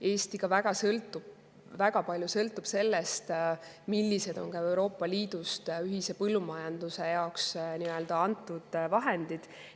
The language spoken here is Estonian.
Eesti sõltub väga palju ka sellest, millised on Euroopa Liidust ühise põllumajanduse jaoks antud vahendid.